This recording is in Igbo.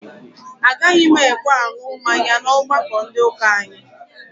Agaghị m ekwe aṅụ mmanya n'ọgbakọ ndị ụka anyị